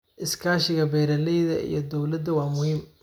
Iskaashiga beeralayda iyo dawladda waa muhiim.